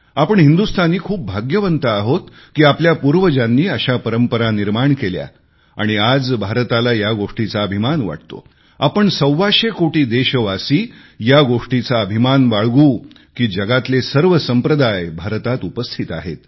आपण हिंदुस्तानी खूप भाग्यवान आहोत की आपल्या पूर्वजांनी अशा परंपरा निर्माण केल्या आणि आज भारत या गोष्टीचा गर्व करू शकतो आपण सव्वाशे कोटी देशावासी या गोष्टीचा गर्व करू शकतात की जगातले सर्व संप्रदाय भारतात आहेत